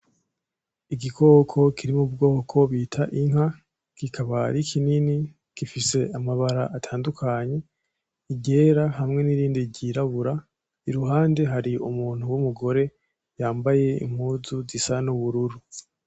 Igikoko kiri mubwoko bita Inka kikaba ari kinini gifise amabara atandukanye iryera hamwe nirindi ryirabura iruhande hari umuntu wumugore yambaye impuzu zisa nubururu.